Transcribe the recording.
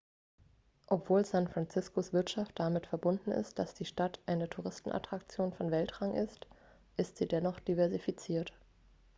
obwohl san franciscos wirtschaft damit verbunden ist dass die stadt eine touristenattraktion von weltrang ist ist sie dennoch diversifiziert